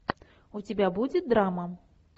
у тебя будет драма